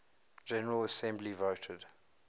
general assembly voted